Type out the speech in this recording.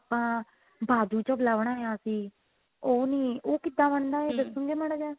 ਆਪਾਂ ਬਾਜੂ ਚਬਲਾ ਬਣਾਇਆ ਸੀ ਉਹ ਨਹੀਂ ਉਹ ਕਿੱਦਾਂ ਬਣਦਾ ਆ ਦੱਸੋਗੇ ਮਾੜਾ ਜਿਹਾ